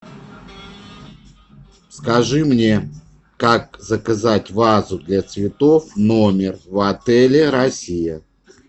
скажи мне как заказать вазу для цветов в номер в отеле россия